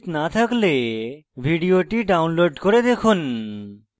ভাল bandwidth না থাকলে ভিডিওটি download করে দেখুন